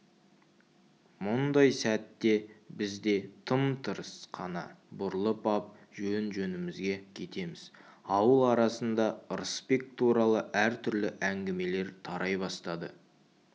мұндай сәтте біз де тым-тырыс қана бұрылып ап жөн-жөнімізге кетеміз ауыл арасында ырысбек туралы әр түрлі әңгімелер тарай бастады